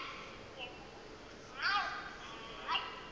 ya ba e le gona